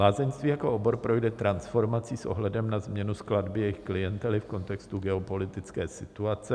Lázeňství jako obor projde transformací s ohledem na změnu skladby jejich klientely v kontextu geopolitické situace.